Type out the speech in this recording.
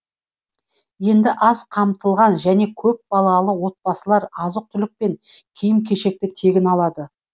енді аз қамтылған және көпбалалы отбасылар азық түлік пен киім кешекті тегін алады